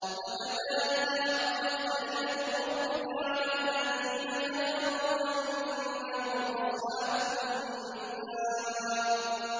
وَكَذَٰلِكَ حَقَّتْ كَلِمَتُ رَبِّكَ عَلَى الَّذِينَ كَفَرُوا أَنَّهُمْ أَصْحَابُ النَّارِ